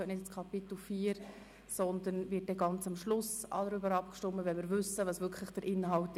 Über diesen Antrag wird ganz am Schluss abgestimmt, wenn wir den Inhalt wirklich kennen.